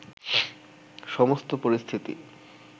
সমস্ত পরিস্থিতি